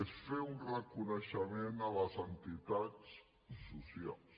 és fer un reconeixement a les entitats socials